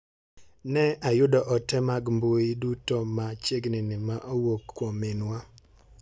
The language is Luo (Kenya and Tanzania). Ne ayudo ote mag mbui duto ma chiegni ni ma owuok kuom minwa.